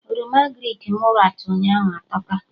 Oroma agrịk mụ rachaa ụnyaahụ atọka